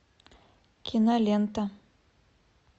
кинолента